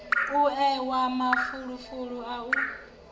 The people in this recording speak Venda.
u ewa mafulufulu a u